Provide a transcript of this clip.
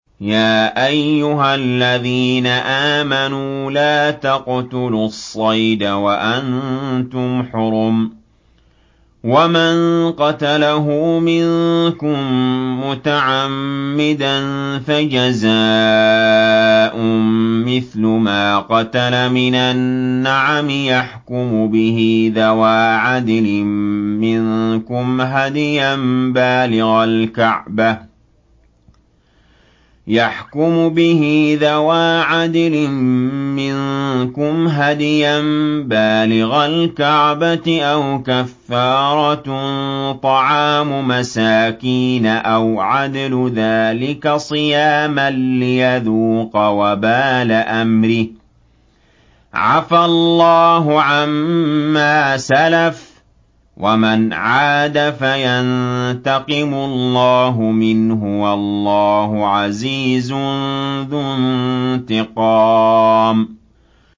يَا أَيُّهَا الَّذِينَ آمَنُوا لَا تَقْتُلُوا الصَّيْدَ وَأَنتُمْ حُرُمٌ ۚ وَمَن قَتَلَهُ مِنكُم مُّتَعَمِّدًا فَجَزَاءٌ مِّثْلُ مَا قَتَلَ مِنَ النَّعَمِ يَحْكُمُ بِهِ ذَوَا عَدْلٍ مِّنكُمْ هَدْيًا بَالِغَ الْكَعْبَةِ أَوْ كَفَّارَةٌ طَعَامُ مَسَاكِينَ أَوْ عَدْلُ ذَٰلِكَ صِيَامًا لِّيَذُوقَ وَبَالَ أَمْرِهِ ۗ عَفَا اللَّهُ عَمَّا سَلَفَ ۚ وَمَنْ عَادَ فَيَنتَقِمُ اللَّهُ مِنْهُ ۗ وَاللَّهُ عَزِيزٌ ذُو انتِقَامٍ